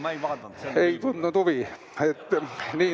Ma ei tea, ma ei tundnud huvi.